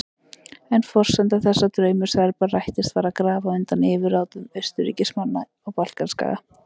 En forsenda þess að draumur Serba rættist var að grafa undan yfirráðum Austurríkismanna á Balkanskaga.